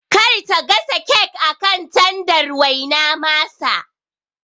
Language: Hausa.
Kar ta gasa kek akan tandar waina masa